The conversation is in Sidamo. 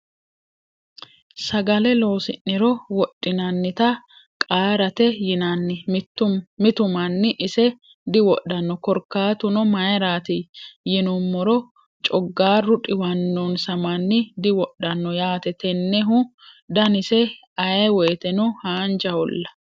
Sagale loosi'niro wodhinannita qaarate yinanni. Mitu manni ise diwodhano. Korkaatuno mayiirati yinumoro cogaarru dhiwannonsa manni diwodhano yaate. Tennehu daniseno ayee woyite hanjaaholla.